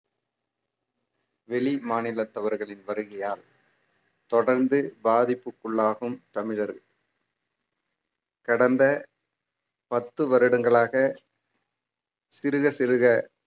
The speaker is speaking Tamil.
வெளிமாநிலத்தவர்களின் வருகையால் தொடர்ந்து பாதிப்புக்குள்ளாகும் தமிழர் கடந்த பத்து வருடங்களாக சிறுக சிறுக